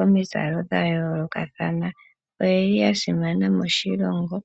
omizalo dha yoolokathana. Oye li ya simana moshilongo.